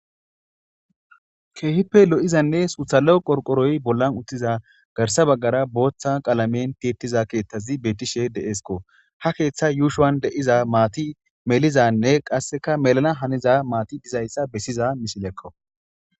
keehippe lo7izanne suthalo qorqoroy bollan uttiza garsa baggara booththa qalamen tittiza keeththazi beetishe deesko ha keeththa yuushowan de7iza maati melizanne qasseka melana haniza maati dizayssa bessiza mishilekko